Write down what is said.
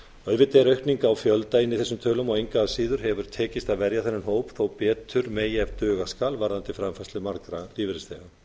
auðvitað er aukning á fjölda inni í þessum tölum en engu að síður hefur tekist að verja þennan hóp þó betur megi ef duga skal varðandi framfærslu margra lífeyrisþega